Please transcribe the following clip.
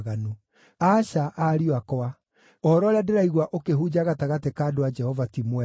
Aca, ariũ akwa; ũhoro ũrĩa ndĩraigua ũkĩhunja gatagatĩ ka andũ a Jehova ti mwega.